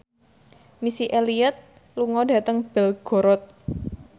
Missy Elliott lunga dhateng Belgorod